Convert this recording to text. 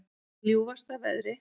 Í ljúfasta veðri